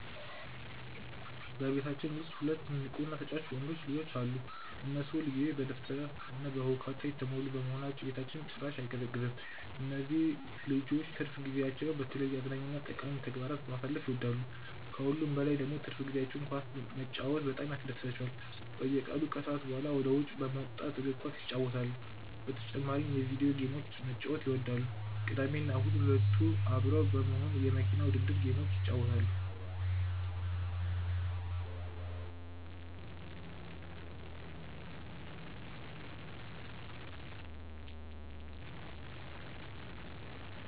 በቤታችን ውስጥ ሁለት ንቁ እና ተጫዋች ወንዶች ልጆች አሉ። እነሱ ሁል ጊዜ በደስታ እና በሁካታ የተሞሉ በመሆናቸው ቤታችን በጭራሽ አይቀዘቅዝም። እነዚህ ልጆች ትርፍ ጊዜያቸውን በተለያዩ አዝናኝ እና ጠቃሚ ተግባራት ማሳለፍ ይወዳሉ። ከሁሉም በላይ ደግሞ በትርፍ ጊዜያቸው ኳስ መጫወት በጣም ያስደስታቸዋል። በየቀኑ ከሰዓት በኋላ ወደ ውጭ በመውጣት እግር ኳስ ይጫወታሉ። በተጨማሪም የቪዲዮ ጌሞችን መጫወት ይወዳሉ። ቅዳሜና እሁድ ሁለቱ አብረው በመሆን የመኪና ውድድር ጌሞችን ይጫወታሉ።